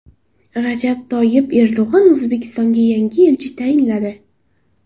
Rajab Toyyib Erdo‘g‘on O‘zbekistonga yangi elchi tayinladi.